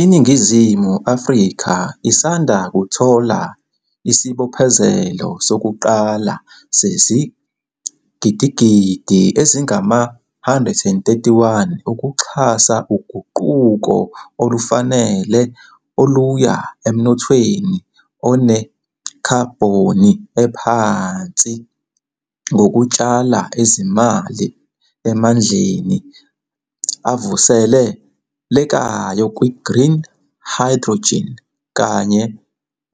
INingizimu Afrika isanda kuthola isibophezelo sokuqala sezigidigidi ezingama-R131 ukuxhasa uguquko olufanele oluya emnothweni onekhabhoni ephansi ngokutshala izimali emandleni avusele lekayo, kwi-green hydrogen kanye